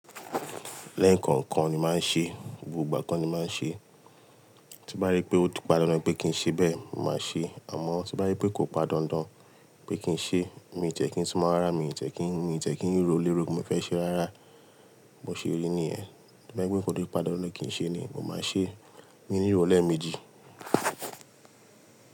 Lẹ́ẹ̀kan kan ni máa ń ṣe, gbogbo ìgbà kan ni máa ń ṣe. Tí n bá rí pé ó ti padandan pé kí n ṣe bẹ́ẹ̀, mo máa ṣe. Àmọ́ to bá je pé kò padandan pé kí n ṣe, mi ò ti e kí n súnmọ̀ rárá, mi ò tẹ̀ kí n, mi ò tiẹ̀ kí n rò lero pe mo fẹ́ ṣe rárá. Bo ṣeri nìyẹn. To bá je pé to ti padandan kí n ṣe ni, mo máa ṣe. Mi ní ro leméjì.